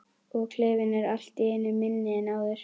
Og klefinn er allt í einu minni en áður.